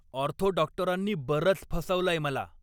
Ortho डॉक्टरांनी बरंच फसवलंय मला.